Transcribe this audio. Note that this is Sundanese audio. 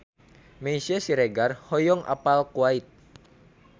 Meisya Siregar hoyong apal Kuwait